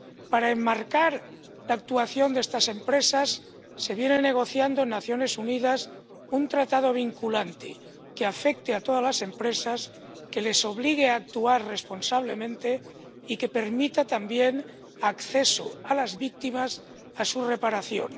Para enmarcar la actuación de estas empresas se viene negociando en las Naciones Unidas un tratado vinculante que afecte a todas las empresas, que les obligue a actuar responsablemente y que permita también el acceso de las víctimas a reparación.